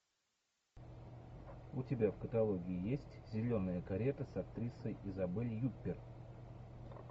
у тебя в каталоге есть зеленая карета с актрисой изабель юппер